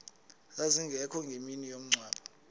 zazingekho ngemini yomngcwabo